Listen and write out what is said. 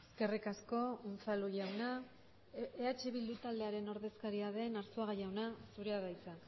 eskerrik asko unzalu jauna eh bildu taldearen ordezkaria den arzuaga jauna zurea da hitza